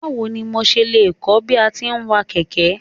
Báwo ni mo ṣe lè kọ́ bí a ti ń wa kẹ̀kẹ́.